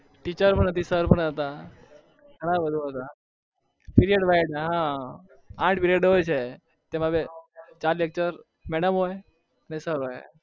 teacher આઠ period હા ચાર lecture madam હોય બાકી sir હોય